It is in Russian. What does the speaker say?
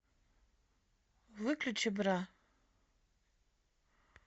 выключи бра